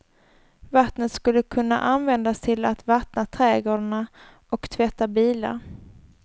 Vattnet skulle kunna användas till att vattna trädgårdarna och tvätta bilar.